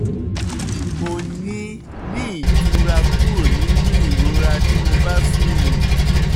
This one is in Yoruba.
mo ní ní ìtura kúrò nínú ìrora tí mo bá sùn